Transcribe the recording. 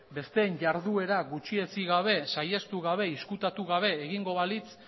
besteen jarduera gutxietsi gabe saihestu gabe ezkutatu gabe egingo balitz